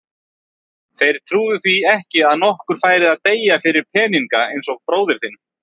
Þeir trúðu því ekki að nokkur færi að deyja fyrir peninga eins og bróðir þinn.